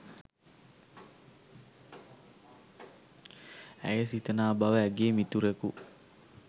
ඇය සිතනා බව ඇගේ මිතුරකු